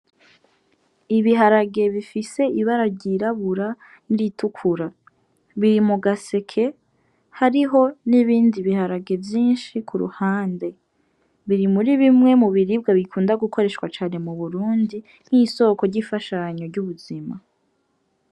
Ibiharage bifise ibara ryirabura n'iritukura, biri mu gaseke hariho n'ibindi biharage vyinshi ku ruhande. Biri muri bimwe mu biribwa bikunda gukoreshwa cane mu Burundi nk'isoko ry'ubuzima.